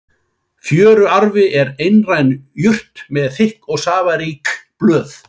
Fjöruarfi er einær jurt með þykk og safarík blöð.